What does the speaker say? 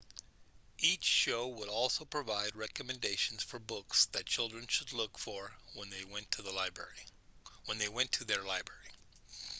each show would also provide recommendations for books that children should look for when they went to their library